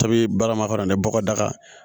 Tobili balima ka na ni bɔgɔ daga ye